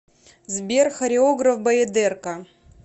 сбер хореограф баядерка